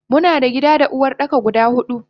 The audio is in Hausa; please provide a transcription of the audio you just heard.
Muna da gida da Uwardaka guda hudu.